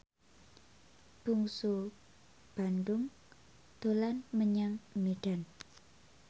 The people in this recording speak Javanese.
Bungsu Bandung dolan menyang Medan